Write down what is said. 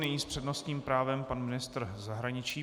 Nyní s přednostním právem pan ministr zahraničí.